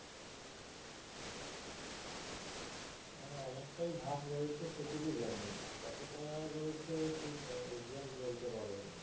অনেকটা ভাগ রয়েছে সেটুকু জানি কতটা রয়েছে ঠিক exact বলতে পারবো না